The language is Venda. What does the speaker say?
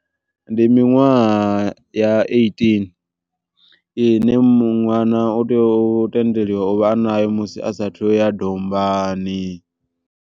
Ndi miṅwaha ya eighteen ine ṅwana u tea u tendeliwa u vha a nayo musi asathu ya dombani.